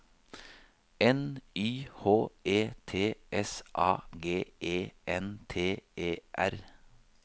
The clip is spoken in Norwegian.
N Y H E T S A G E N T E R